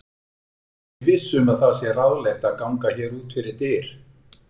Ég er ekki viss um að það sé ráðlegt að ganga hér út fyrir dyr.